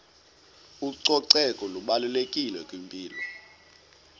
ucoceko lubalulekile kwimpilo